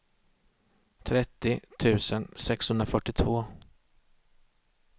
trettio tusen sexhundrafyrtiotvå